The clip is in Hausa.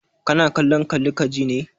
Kana kallon kalli ka ji ne?